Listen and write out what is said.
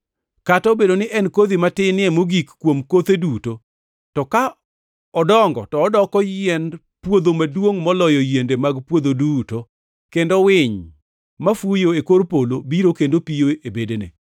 Kata obedo ni en e kodhi matinie mogik kuom kotheu duto, to ka odongo to odoko yiend puodho maduongʼ moloyo yiende mag puodho duto, kendo winy mafuyo e kor polo biro kendo piyo e bedene.”